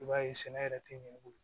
I b'a ye sɛnɛ yɛrɛ tɛ ɲɛ i bolo